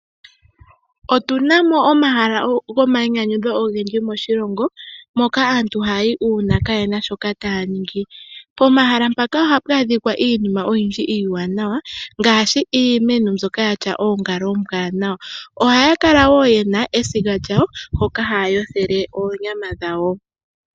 Otu na mo omahala ogendji gomainyanyudho moshilongo, moka aantu hayayi olundji uuna kaayena sho taya ningi. Pomahala mpaka ohapu adhikwa iinima iiwanawa, ngaashi iimeno mbyoka yatya oongala oombwanawa, ohayakala wo ye na esiga lyawo, mpoka haya yothele oonyama dhawo.